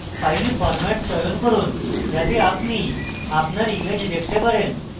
file format চয়ন করুন যাতে আপনি আপনার image দেখতে চান